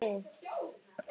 Hvorki þá né nú.